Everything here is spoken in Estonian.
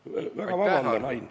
Palun väga vabandust, Ain!